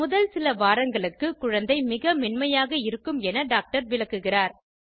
முதல் சில வாரங்களுக்கு குழந்தை மிக மென்மையாக இருக்கும் என டாக்டர் விளக்குகிறார்